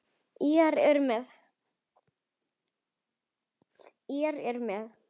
Írar eru með.